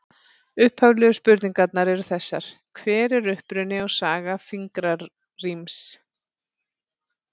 Upphaflegu spurningarnar eru þessar: Hver er uppruni og saga fingraríms?